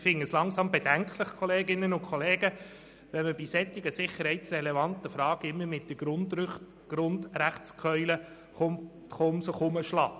Ich finde es langsam bedenklich, Kolleginnen und Kollegen, wenn bei solchen sicherheitsrelevanten Fragen immer die «Grundrechtskeule geschwungen» wird.